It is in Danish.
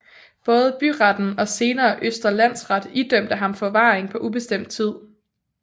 Både byretten og senere Østre Landsret idømte ham forvaring på ubestemt tid